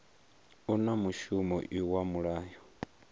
u na mushumo iwa mulayo